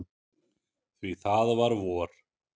Því það var vor.